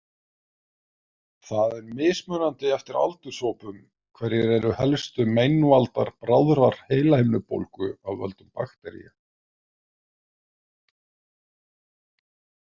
Það er mismunandi eftir aldurshópum hverjir eru helstu meinvaldar bráðrar heilahimnubólgu af völdum baktería.